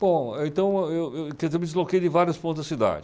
Bom, então, eu, eu, quer dizer, eu me desloquei de vários pontos da cidade.